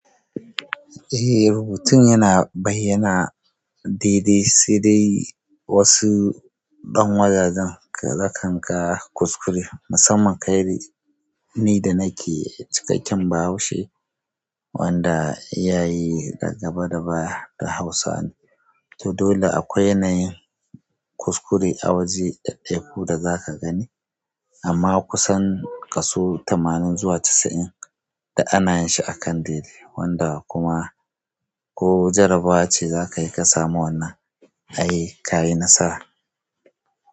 Eh rubutun yana bayyana daidai sai dai wasu ɗan wajajen ka za kan ka kuskure musamman kai ni da nake cikakken bahaushe wanda iyaye a gaba da baya duk Hausawa ne. To dole akwai yanayin kuskure a waje daddaiku da zaka gani amma kusan kaso tamanin zuwa casa'in duk ana yin shi akan dai dai wanda kuma ko jarabawa ce zakayi ka samu wanna ai ka yi nasara.